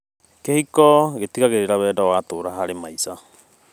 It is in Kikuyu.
Kĩhiko, gĩtigagĩrĩra wendo nĩ watũũra harĩ maica.